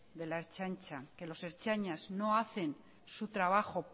de la ertzaintza que los ertzainas no hacen su trabajo